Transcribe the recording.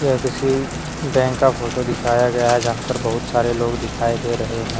यह किसी बैंक का फोटो दिखाया गया है जहां पर बहुत सारे लोग दिखाई दे रहे है।